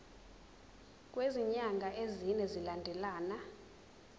kwezinyanga ezine zilandelana